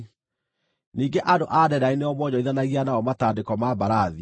“ ‘Ningĩ andũ a Dedani nĩo mwonjorithanagia nao matandĩko ma mbarathi.